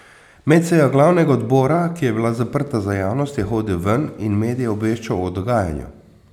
Med sejo glavnega odbora, ki je bila zaprta za javnost, je hodil ven in medije obveščal o dogajanju.